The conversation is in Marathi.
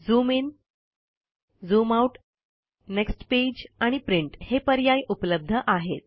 zoom in zoom out next page आणि प्रिंट हे पर्याय उपलब्ध आहेत